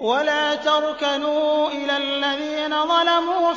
وَلَا تَرْكَنُوا إِلَى الَّذِينَ ظَلَمُوا